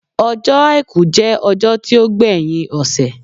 Ọjọ́ àìkú jẹ́ ọjọ́ tí ó gbé yín ọ̀sẹ̀